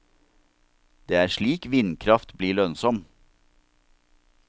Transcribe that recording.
Det er slik vindkraft blir lønnsom.